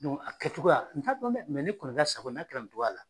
Dɔnku a kɛcogoya la, n t'a dɔn dɛ mɛ ne n' a kɛra nin togoyara.